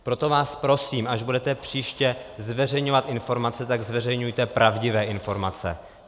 Proto vás prosím, až budete příště zveřejňovat informace, tak zveřejňujte pravdivé informace.